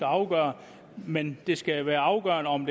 afgørende men det skal være afgørende om